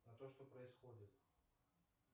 а то что происходит